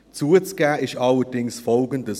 Zuzugeben ist allerdings Folgendes: